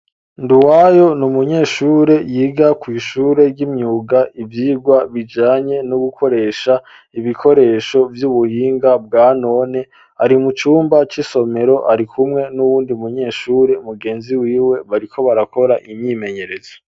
Nduwayo n'umunyeshure yiga kw'ishure ry'imyuga ivyigwa bijanye no gukoresha ibikoresho vy'ubuhinga bwanone ari mu cumba c'isomero ari kumwe n'uwundi munyeshure mugenzi wiwe bariko barakora imyimenyerezo.